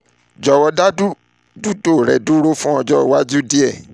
jọwọ da um lilo rẹ um duro fun ọjọ iwaju rẹ ti o dara julọ um